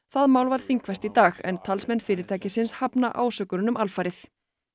það mál var þingfest í dag talsmenn fyrirtækisins hafna alfarið